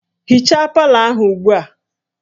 Hichaa palọ ahụ ugbu a!